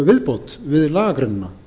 um viðbót við lagagreinina